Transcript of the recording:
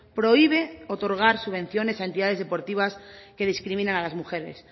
prohíbe otorgar subvenciones a entidades deportivas que discriminan a las mujeres